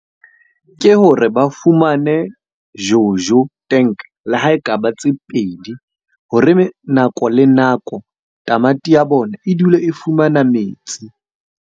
Ke hore ba fumane Jojo tank, le ha e ka ba tse pedi. Hore nako le nako tamati ya bona e dule e fumana metsi.